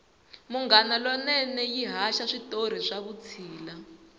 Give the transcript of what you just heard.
munghana lonene yi haxa switori swa vutshila